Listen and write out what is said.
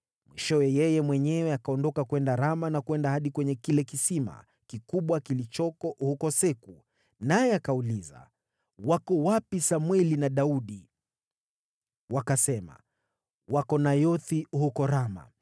Mwishowe, yeye mwenyewe akaondoka kwenda Rama na kwenda hadi kwenye kile kisima kikubwa kilichoko huko Seku. Naye akauliza, “Wako wapi Samweli na Daudi?” Wakasema, “Wako Nayothi huko Rama.”